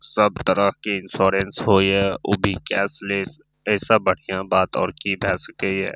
सब तरह के इंश्योरेंस हो या ऊ भी कैशलेस एसे बढ़िया बात और की भाय सके य।